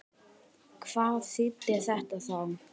Hvað þýddi þetta þá?